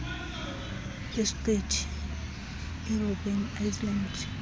isiqithi irobben island